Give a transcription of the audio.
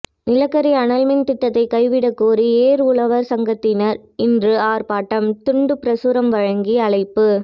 நிலக்கரி அனல்மின் திட்டத்தை கைவிட கோரி ஏர் உழவர் சங்கத்தினர் இன்று ஆர்ப்பாட்டம் துண்டு பிரசுரம் வழங்கி அழைப்பு